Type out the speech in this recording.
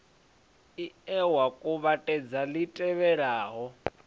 ie wa kuvhatedza li tevhelaho